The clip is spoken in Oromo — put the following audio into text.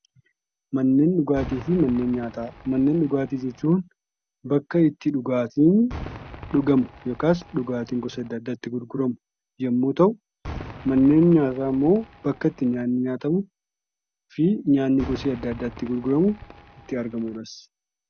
Manneen dhugaatii jechuun bakka itti dhugaatiin dhugamu yookaas dhugaatiin gosa adda addaa itti gurguramu yemmuu ta'u, manneen nyaataa ammoo bakka itti nyaanni nyaatamufi nyaanni gosa adda addaa itti gurguramu itti argamuudhas.